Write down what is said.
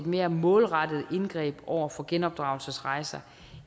mere målrettet indgreb over for genopdragelsesrejser